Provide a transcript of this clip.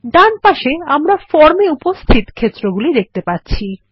ডানপাশে আমরা ফর্ম এ উপস্থিত ক্ষেত্রগুলি দেখতে পাচ্ছি